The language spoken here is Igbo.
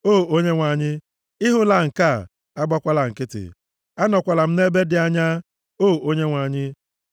O Onyenwe anyị, ị hụla nke a, agbakwala nkịtị; anọkwala m nʼebe dị anya, O Onyenwe anyị.